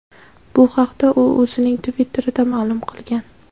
Bu haqda u o‘zining Twitter’ida ma’lum qilgan .